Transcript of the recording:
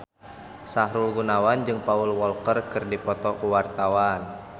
Sahrul Gunawan jeung Paul Walker keur dipoto ku wartawan